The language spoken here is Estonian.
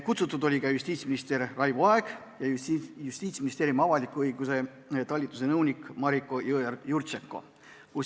Kutsutud oli ka justiitsminister Raivo Aeg ja Justiitsministeeriumi avaliku õiguse talituse nõunik Mariko Jõeorg-Jurtšenko.